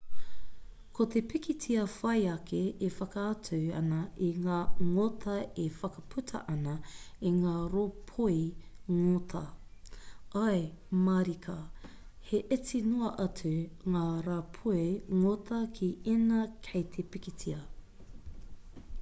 ko te pikitia whai ake e whakaatu ana i ngā ngota e whakaputa ana i ngā rāpoi ngota ae mārika he iti noa atu ngā rāpoi ngota ki ēnā kei te pikitia